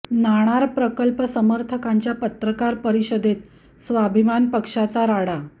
नाणार प्रकल्प समर्थकांच्या पत्रकार परिषदेत स्वाभिमान पक्षाचा राडा